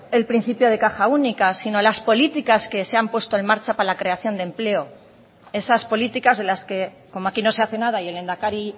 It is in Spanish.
el principio de caja única sino las políticas que se han puesto en marcha para la creación de empleo esas políticas de las que como aquí no se hace nada y el lehendakari